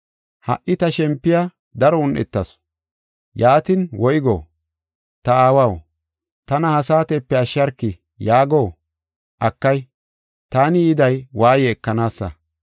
“Ha77i ta shempoy daro un7etis; yaatin woygo? ‘Ta Aawaw, tana ha saatepe ashsharki’ yaago? Akay, taani yiday waaye ekanaasa.